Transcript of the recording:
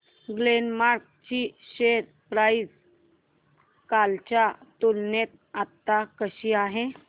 Glenmark ची share price कालच्या तुलनेत आज कशी आहे